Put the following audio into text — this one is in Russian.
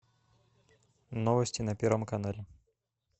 новости на первом канале